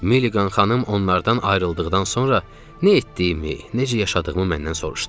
Milliqan xanım onlardan ayrıldıqdan sonra nə etdiyimi, necə yaşadığımı məndən soruşdu.